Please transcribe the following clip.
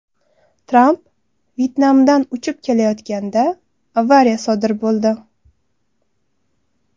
Tramp Vyetnamdan uchib ketayotganda avariya sodir bo‘ldi .